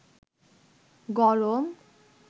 গরম